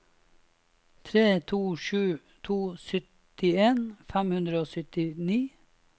tre to sju to syttien fem hundre og syttini